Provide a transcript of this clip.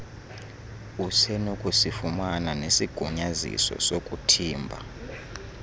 usenokusifumana nesigunyaziso sokuthimba